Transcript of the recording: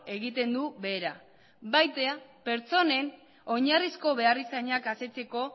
egiten du behera baita pertsonen oinarrizko beharrizanak asetzeko